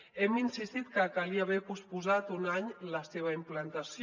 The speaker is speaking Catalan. hem insistit que calia haver posposat un any la seva implantació